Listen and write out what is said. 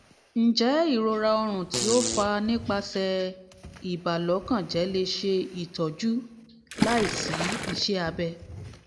njẹ irora ọrun ti o fa nipasẹ ibalokanjẹ le ṣe itọju laisi iṣẹ abẹ?